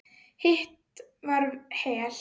Hitt var Hel.